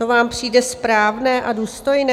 To vám přijde správné a důstojné?